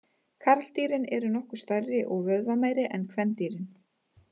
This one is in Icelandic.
Karldýrin eru nokkuð stærri og vöðvameiri en kvendýrin.